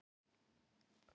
Norskir Vítisenglar.